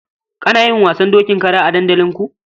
Ana yin wasan dokin kara a dandalinku?